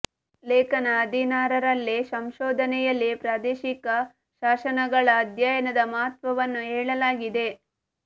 ಲೇಖನ ಹದಿನಾರರಲ್ಲಿ ಸಂಶೋಧನೆ ಯಲ್ಲಿ ಪ್ರಾದೇಶಿಕ ಶಾಸನಗಳ ಅಧ್ಯಯನದ ಮಹತ್ವವನ್ನು ಹೇಳಲಾಗಿದೆ